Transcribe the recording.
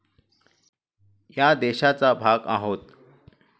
या देशाचा भाग आहोत.